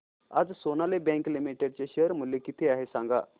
आज Sonali bank limited चे share मूल्य किती आहे सांगा